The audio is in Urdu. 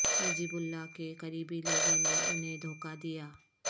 نجیب اللہ کے قریبی لوگوں نے انھیں دھوکہ دیا